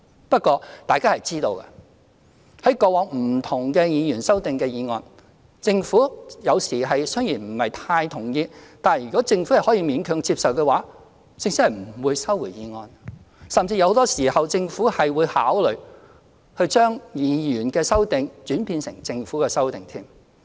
不過，大家都知道，對於過往不同的議員修正案，政府有時雖然不是太同意，但如果政府可以勉強接受的話，政府是不會收回法案的，甚至很多時候政府會考慮將議員的修正案轉變成政府的修正案。